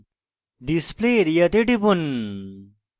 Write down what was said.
display area তে টিপুন